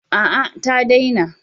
A'a ta daina.